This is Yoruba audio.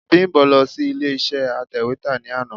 Bímbọ̀ lọ sí ilé iṣé atẹ̀wétà ní àná.